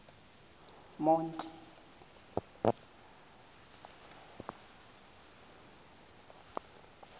monti